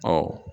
Ɔ